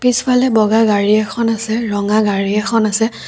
পিছফালে বগা গাড়ী এখন আছে ৰঙা গাড়ী এখন আছে।